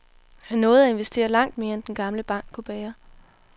Han nåede at investere langt mere end den gamle bank kunne bære.